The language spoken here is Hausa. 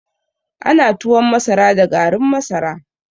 Ana tuwon masara da garin masara